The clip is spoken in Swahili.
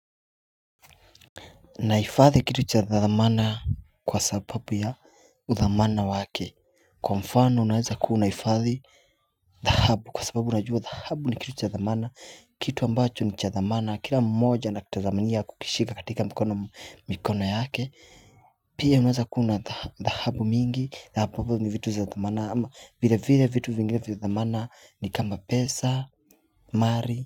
Nahifathi kitu cha dhamana kwa sababu ya udhamana wake kwa mfano unaweza kuwa unahifadhi dhahabu kwa sababu unajua dhahabu ni kitu cha dhamana kitu ambacho ni cha dhamana kila mmoja na kitadhaminia kukishika katika mikono yake Pia unaweza kuwa una dhahabu mingi dhahabu ni vitu zadhamana ama vile vile vitu vingine vitu vya dhamana ni kama pesa mali.